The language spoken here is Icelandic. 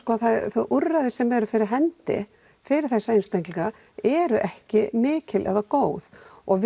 þau úrræði sem eru fyrir hendi fyrir þessa einstaklinga eru ekki mikil eða góð og